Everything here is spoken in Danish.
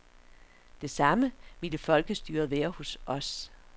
Det samme ville folkestyret være hos os.